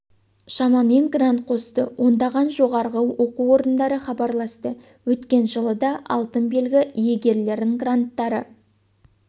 шамамен грант қосты ондаған жоғарғы оқу орындары хабарласты өткен жылы да алтын белгі иегерлерін гранттары